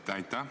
Aitäh!